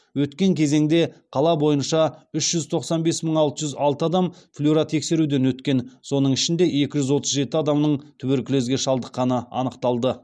өткен кезеңде қала бойынша үш жүз тоқсан бес мың алты жүз алты адам флюротексеруден өткен соның ішінде екі жүз отыз жеті адамның туберкулезге шалдықққаны анықталды